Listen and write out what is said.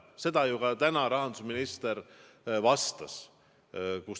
Seda ju ka täna rahandusminister vastas.